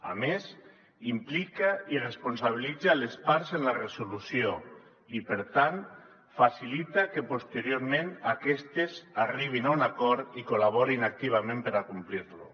a més implica i responsabilitza les parts en la resolució i per tant facilita que posteriorment aquestes arribin a un acord i col·laborin activament per acomplir lo